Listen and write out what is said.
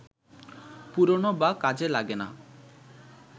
পুরনো বা কাজে লাগে না